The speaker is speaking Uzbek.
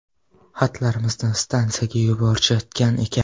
Xatlarimizni stansiyaga yuborishayotgan ekan.